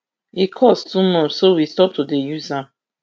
e cost too much so we stop to dey use am